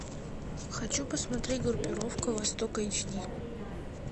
хочу посмотреть группировка востока эйч ди